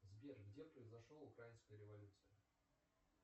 сбер где произошел украинская революция